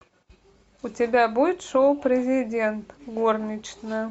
у тебя будет шоу президент горничная